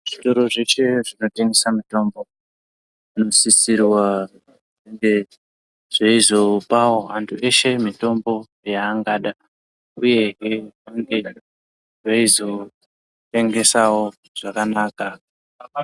Zvitoro zveshe zvinotengesa mitombo zvinosisirwa kunga zveizopavo antu eshe mitombo yaangada, uyehe veinge veizotengesavo zvakanaka.